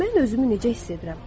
Mən özümü necə hiss edirəm?